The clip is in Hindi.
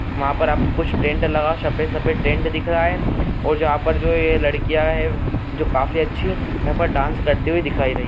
वहाँ पर आप कुछ टेंट लगा सफेद सफेद टेंट दिख रहा है जहाँ पे जो ये लड़कियां हैं जो काफी अच्छी- हैं पर डांस करती हुई दिखाई रही।